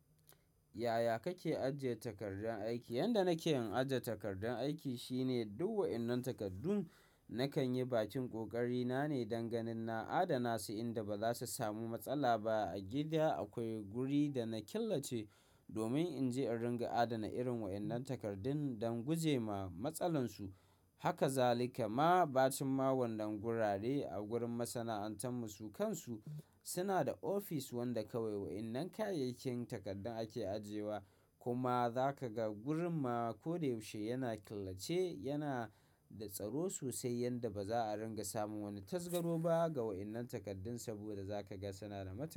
Yaya kake ajiye takardun aiki? Yanda nake yin ajiye takardun aiki shine, duk wa'innan takardu nakan yi bakin ƙoƙari na ne, dan ganin na adana su inda ba za su samu matsala ba. A gida akwai guri da na killace, domin in je in ringa adana irin wa'innan takardun, don gujema matsalansu. Haka zalika ma, bacin ma wanan gurare a gurin masana'antar mu, su kansu suna da ofis wanda kawai wa'innan kayayyakin takardun ake ajiyewa. Kuma, za ka ga gurin ma ko da yaushe yana killace, yana da tsaro sosai yanda ba za a ringa samun wani tasgaro ba ga wa'innan takardu, saboda za ka ga suna da ma.